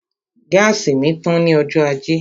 Gáàsì mi tán ní ọjọ́ ajé